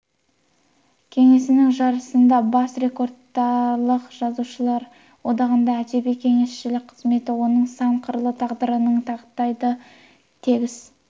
кеңесінің жаршысындағы бас редакторлық жазушылар одағында әдеби кеңесшілік қызметі оның сан қырлы тағдырының тақтайдай тегіс